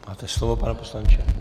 Máte slovo, pane poslanče.